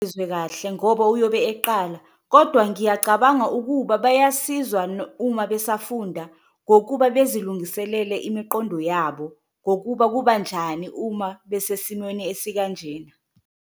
Kahle ngoba uyobe eqala kodwa ngiyacabanga ukuba bayasizwa uma besafunda ngokuba bezilungiselele imiqondo yabo, ngokuba kubanjani uma besesimweni esikanjena.